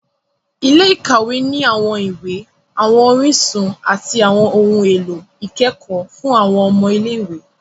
Ilé-ìkawe ni awọn iwe, awọn orísun, ati awọn ohùn èlò ikẹkọ fun awọn ọmọ ilé-ìwé